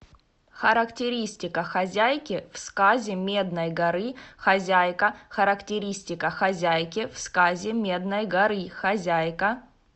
характеристика хозяйки в сказе медной горы хозяйка характеристика хозяйки в сказе медной горы хозяйка